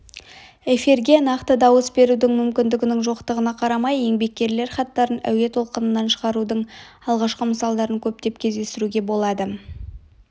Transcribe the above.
эфирге нақты дауыс берудің мүмкіндігінің жоқтығына қарамай еңбеккерлер хаттарын әуе толқынынан шығарудың алғашқы мысалдарын көптеп кездестіруге болады